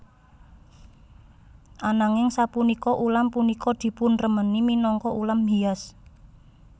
Ananging sapunika ulam punika dipunremeni minangka ulam hias